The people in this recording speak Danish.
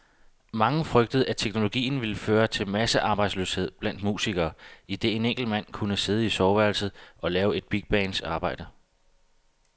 Mange frygtede, at teknologien ville føre til massearbejdsløshed blandt musikere, idet en enkelt mand kunne sidde i soveværelset og lave et bigbands arbejde.